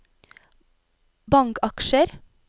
bankaksjer